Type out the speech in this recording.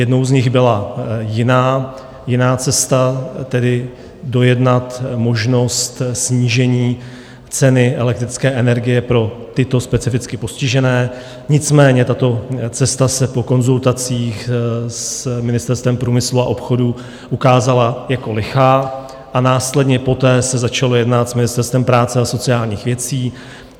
Jednou z nich byla jiná cesta, tedy dojednat možnost snížení ceny elektrické energie pro tyto specificky postižené, nicméně tato cesta se po konzultacích s Ministerstvem průmyslu a obchodu ukázala jako lichá a následně poté se začalo jednat s Ministerstvem práce a sociálních věcí.